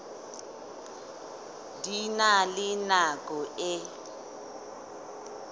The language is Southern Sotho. di na le nako e